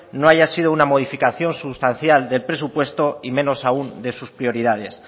no haya sido una modificación sustancial del presupuesto y menos aún de sus prioridades